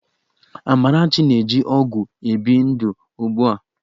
Amarachi na-eji ọgwụ ebi ndụ ugbu a